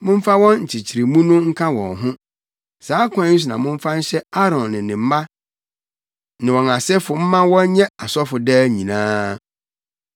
Momfa wɔn nkyekyeremu no nka wɔn ho. Saa kwan yi so na momfa nhyɛ Aaron ne ne mma ne wɔn asefo mma wɔnyɛ asɔfo daa nyinaa.